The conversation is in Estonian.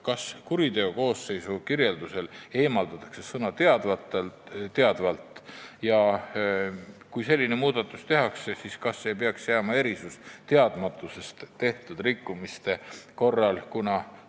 Kas kuriteokoosseisu kirjelduses eemaldatakse sõna "teadvalt" ja kui selline muudatus tehakse, siis kas ei peaks jääma erisus teadmatusest tehtud rikkumiste korral?